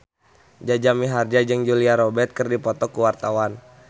Jaja Mihardja jeung Julia Robert keur dipoto ku wartawan